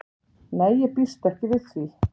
Nei ég býst ekki við því.